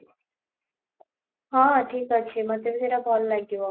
ହଁ, ଠିକ ଅଛି ମୋତେ ବି ସେଇଟା ଭଲ ଲାଗିବ